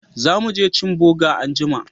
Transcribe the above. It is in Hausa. Za mu je cin boga anjima